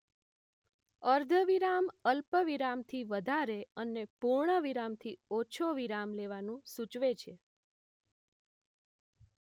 અર્ધવિરામ અલ્પ વિરામથી વધારે અને પૂર્ણ વિરામથી ઓછો વિરામ લેવાનું સૂચવે છે